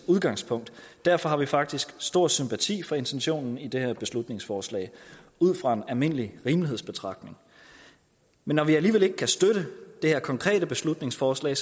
udgangspunkt og derfor har vi faktisk stor sympati for intentionen i det her beslutningsforslag ud fra en almindelig rimelighedsbetragtning men når vi alligevel ikke kan støtte det her konkrete beslutningsforslag